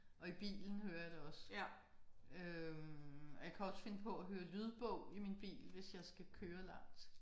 Jeg i bilen hører jeg det også. Øh og jeg kan også finde på at høre lydbog i min bil hvis jeg skal køre langt